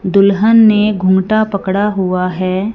दुल्हन ने घूंघटा पकड़ा हुआ है।